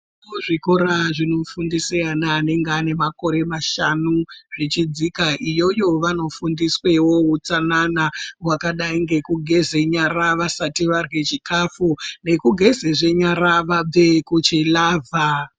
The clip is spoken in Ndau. Kuzvikora zvinofundise ana anenge ane makore mashanu zvichidzika iyoyo vanofundiswewo utsanana hwakadai ngekugeze nyara vasati varye chikafu nekugezezve nyara vabve kuchilavha.